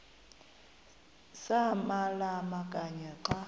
samalama kanye xa